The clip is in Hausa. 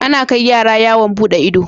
Ana kai yara yawon buɗe ido